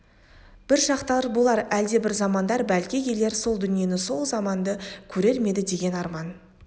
бір шақтар болар әлдебір замандар бәлки келер сол дүниені сол заманды көрер ме еді деген арман